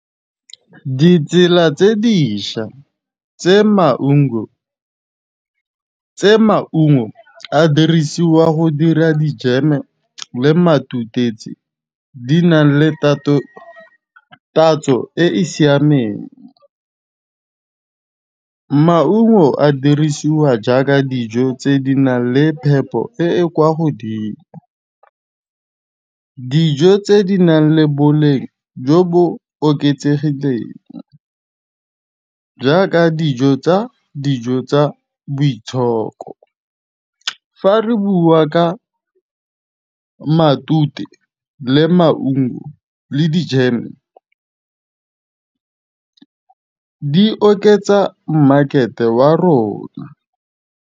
Ditsela tse dišwa tse maungo a dirisiwa go dira dijeme le matutetse di na le tatso e e siameng. Maungo a dirisiwa jaaka dijo tse di nang le phepo e e kwa godimo, dijo tse di nang le boleng jo bo oketsegileng jaaka dijo tsa boitshoko. Fa re bua ka matute, le maungo, le dijeme di oketsa mmakete wa rona.